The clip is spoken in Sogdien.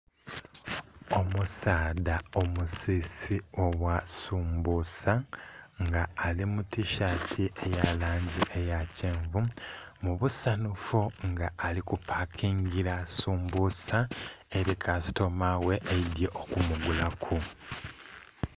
Omusaadha omusisi ogha sumbusa nga alimu tishati eyalangi eyakyenvu, mubusanhufu nga alikupakingira sumbusa eri kasitomaghe eidhye okumugulaku.